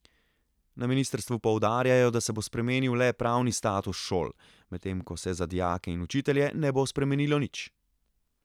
Na ministrstvu poudarjajo, da se bo spremenil le pravni status šol, medtem ko se za dijake in učitelje ne bo spremenilo nič.